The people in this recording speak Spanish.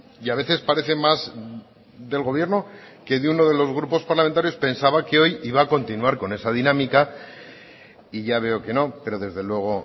y a veces parece más del gobierno que de uno de los grupos parlamentarios pensaba que hoy iba a continuar con esa dinámica y ya veo que no pero desde luego